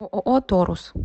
ооо торус